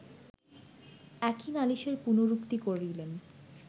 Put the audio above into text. একই নালিশের পুনরুক্তি করিলেন